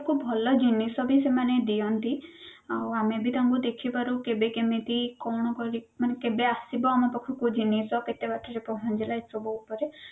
ଆମକୁ ଭଲ ଜିନିଷ ବି ସେମାନେ ଦିଅନ୍ତି ଆଉ ଆମେ ବି ତାଙ୍କୁ ଦେଖି ପାରୁ କେବେ କେମତି କଣ କରି ମାନେ କେବେ ଆସିବ ଆମ ପାଖକୁ ଜିନିଷ କେତେ ବାଟରେ ପହଞ୍ଚିଲା ଏସବୁ ଉପରେ